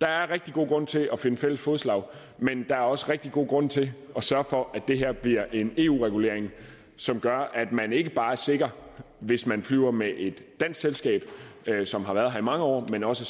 der er rigtig god grund til at finde fælles fodslag men der er også rigtig god grund til at sørge for at det her bliver en eu regulering som gør at man ikke bare er sikker hvis man flyver med et dansk selskab som har været her i mange år men også